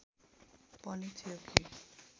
पनि थियो कि